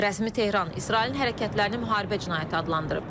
Rəsmi Tehran İsrailin hərəkətlərini müharibə cinayəti adlandırıb.